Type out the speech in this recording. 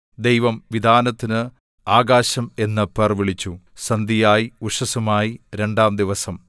ദൈവം വിതാനത്തിന് ആകാശം എന്ന് പേർവിളിച്ചു സന്ധ്യയായി ഉഷസ്സുമായി രണ്ടാംദിവസം